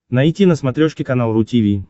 найти на смотрешке канал ру ти ви